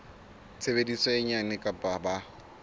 tshebetso e nyane kapa ba